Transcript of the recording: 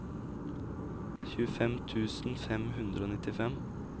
tjuefem tusen fem hundre og nittifem